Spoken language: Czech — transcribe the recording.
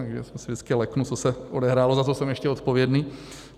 Takže se vždycky leknu, co se odehrálo, za co jsem ještě odpovědný.